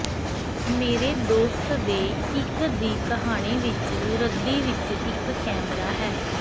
ਮੇਰੇ ਦੋਸਤ ਦੇ ਇੱਕ ਦੀ ਕਹਾਣੀ ਵਿਚ ਰੱਦੀ ਵਿੱਚ ਇੱਕ ਕੈਮਰਾ ਹੈ